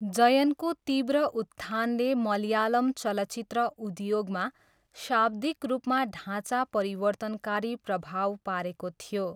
जयनको तीव्र उत्थानले मलयालम चलचित्र उद्योगमा शाब्दिक रूपमा ढाँचा परिवर्तनकारी प्रभाव पारेको थियो।